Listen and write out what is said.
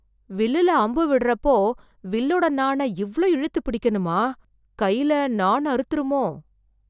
வில்லுல அம்பு விடறப்போ, வில்லோட நாணை இவ்ளோ இழுத்து பிடிக்கணுமா... கைல நாண் அறுத்துருமோ...